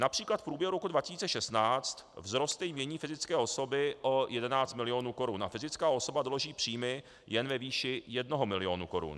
Například v průběhu roku 2016 vzroste jmění fyzické osoby o 11 milionů korun a fyzická osoba doloží příjmy jen ve výši 1 milionu korun.